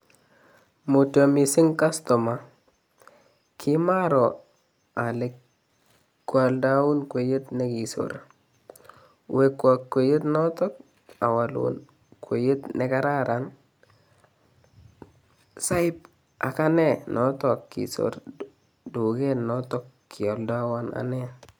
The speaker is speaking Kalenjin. Mutyo missing' kastoma, kimaroo ole kwolndoun kweyot nekisorot, wekwon kweyot noton owolun kweyot nekararan soib agane noton kisorot tuket noton kioldewon ane.